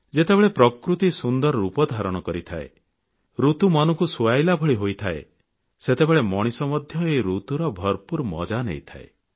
ଯେତେବେଳେ ପ୍ରକୃତି ସୁନ୍ଦର ରୂପ ଧାରଣ କରିଥାଏ ଋତୁ ମନକୁ ସୁହାଇଲା ଭଳି ହୋଇଥାଏ ସେତେବେଳେ ମଣିଷ ମଧ୍ୟ ଏହି ଋତୁର ଭରପୁର ମଜା ନେଇଥାଏ